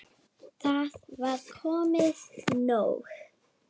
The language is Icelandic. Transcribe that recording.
Það var komið nóg.